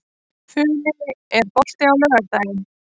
Funi, er bolti á laugardaginn?